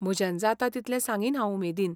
म्हज्यान जाता तितलें सांगीन हांव उमेदीन.